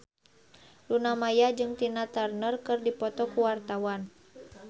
Luna Maya jeung Tina Turner keur dipoto ku wartawan